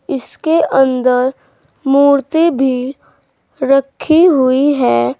इसके अंदर मूर्ति भी रखी हुई है।